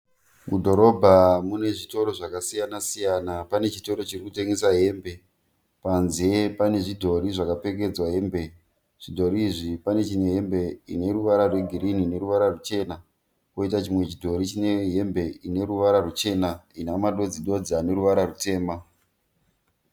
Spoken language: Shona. Mudhorobha mune zvitoro zvakasiyanasiyana. Pane chitoro chiri kutengesa hembe. Panze pane zvidhori zvakapfekedzwa hembe. Zvidhori izvi pane chine hembe ine ruvara rwegirini neruvara ruchena poita chimwe chidhori chine hembe ine ruvara ruchena ina madodzidodzi ane ruvara rutema.